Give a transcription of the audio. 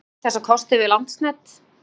Hafið þið rætt þessa kosti við Landsnet?